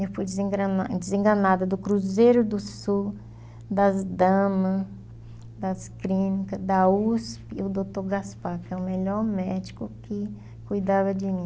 Eu fui desenga desenganada do Cruzeiro do Sul, das damas, das clínicas, da Usp o doutor Gaspar, que é o melhor médico que cuidava de mim.